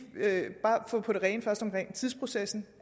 få det på det rene først omkring tidsprocessen